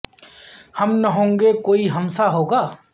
ہم نہ ہوں گے کوئی ہم سا ہو گا